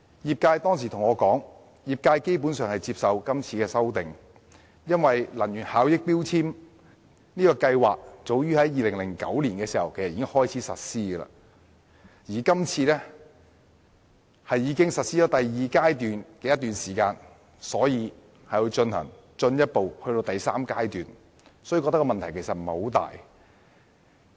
業界當時對我說，他們基本上接受這次的修訂，因為強制性標籤計劃早在2009年開始實施，而第二階段亦已實施一段時間，所以現時推行第三階段應該問題不大。